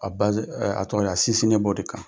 A a tɔgɔ ye di a sinsininen b'o de kan,